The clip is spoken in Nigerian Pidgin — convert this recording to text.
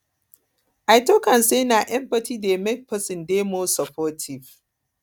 i tok am sey na empathy dey make pesin dey pesin dey more supportive